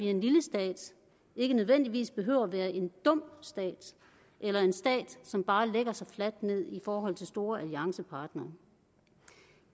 en lille stat ikke nødvendigvis behøver at være en dum stat eller en stat som bare lægger sig fladt ned i forhold til store alliancepartnere